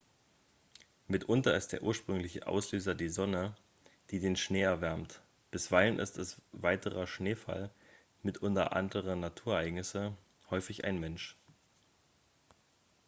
mitunter ist der ursprüngliche auslöser die sonne die den schnee erwärmt bisweilen ist es weiterer schneefall mitunter andere naturereignisse häufig ein mensch